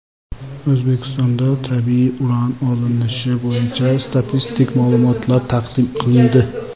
O‘zbekistonda tabiiy uran olinishi bo‘yicha statistik ma’lumotlar taqdim qilindi.